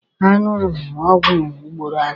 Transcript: A ṅụrụ m ọgwụ ugboro anọ.